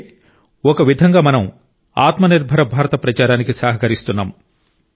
అంటే ఒక విధంగా మనం ఆత్మ నిర్భర భారత ప్రచారానికి సహకరిస్తున్నాం